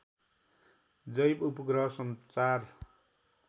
जैव उपग्रह संचार